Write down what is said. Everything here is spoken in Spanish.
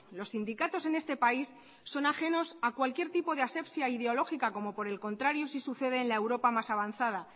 los sindicatos en este país son ajenos a cualquier tipo de asepsia ideológica como por el contrario sí sucede en la europa más avanzada